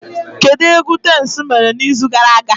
Kedu egwu Tems mere n'izu gara aga?